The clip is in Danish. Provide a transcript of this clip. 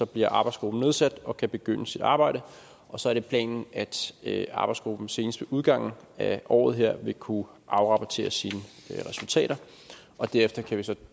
bliver arbejdsgruppen nedsat og kan begynde sit arbejde og så er det planen at arbejdsgruppen senest ved udgangen af året vil kunne afrapportere sine resultater og derefter kan vi så